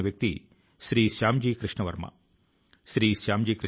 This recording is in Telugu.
ఇన్ స్ట్రుమెంటల్ ప్లస్ గాత్రం వందే మాతరం